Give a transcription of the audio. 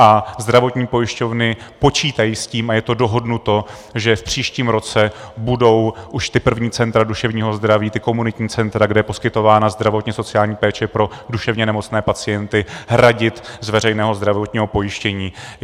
A zdravotní pojišťovny počítají s tím a je to dohodnuto, že v příštím roce budou už ta první centra duševního zdraví, ta komunitní centra, kde je poskytována zdravotně-sociální péče pro duševně nemocné pacienty, hradit z veřejného zdravotního pojištění.